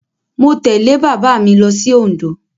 Mo tẹ̀lé bàbá mi lọ sí Òǹdó.